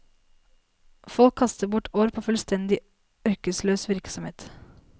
Folk kastet bort år på fullstendig ørkesløs virksomhet.